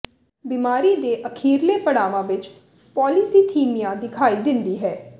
ਬਿਮਾਰੀ ਦੇ ਅਖੀਰਲੇ ਪੜਾਵਾਂ ਵਿੱਚ ਪੌਲੀਸੀਥੀਮਿਆ ਦਿਖਾਈ ਦਿੰਦੀ ਹੈ